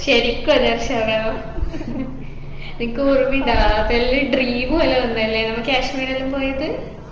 ശരിക്കും അതെ അർഷാന നിൻക്ക് ഓർമ്മ ഇണ്ടാ അതെല്ലാം dream പോലെ ഉണ്ടല്ലേ നമ്മള് കാശ്മീരെല്ലും പോയത്